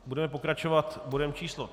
Budeme pokračovat bodem číslo